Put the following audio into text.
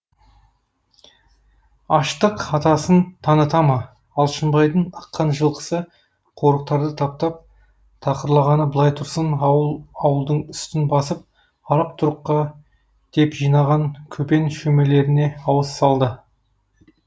аштық атасын таныта ма алшынбайдың ыққан жылқысы қорықтарды таптап тақырлағаны былай тұрсын ауыл ауылдың үстін басып арық тұрыққа деп жинаған көпен шөмелеріне ауыз салды